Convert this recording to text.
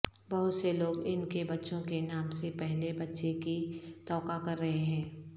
بہت سے لوگ ان کے بچوں کے نام سے پہلے بچے کی توقع کررہے ہیں